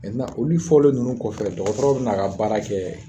Mɛntenan olu fɔlen nunnu kɔfɛ dɔgɔtɔrɔw ben'a ka baara kɛ